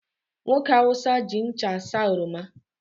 Nwoke Hausa ji ncha asaa oroma